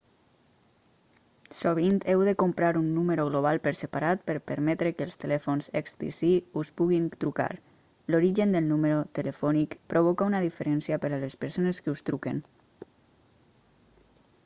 sovint heu de comprar un número global per separat per permetre que els telèfons xtc us puguin trucar l'origen del número telefònic provoca una diferència per a les persones que us truquen